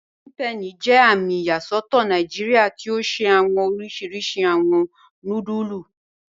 Golden Penny jẹ àmì iyasọtọ Nàìjíríà tí o ṣẹ̀ awọn òrìṣirìṣì awọn núdùlù